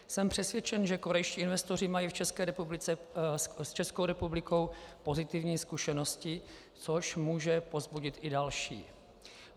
Jsem přesvědčen, že korejští investoři mají s Českou republikou pozitivní zkušenosti, což může povzbudit i další.